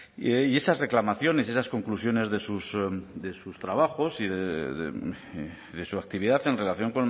y esas reclamaciones y las conclusiones de sus trabajos y de su actividad en relación